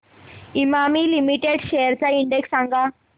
Emami limited shares चा index सांगा